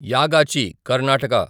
Yagachi Karnataka